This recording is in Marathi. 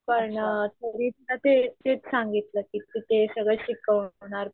पण थेरी च ते तेच सांगितलं कि ते सगळं शिकवणार